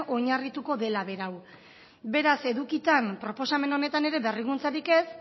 oinarrituko dela beraz edukitan proposamen honetan ere berrikuntzarik ez